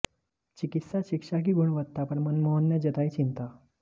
चिकित्सा शिक्षा की गुणवत्ता पर मनमोहन ने जतायी चिंता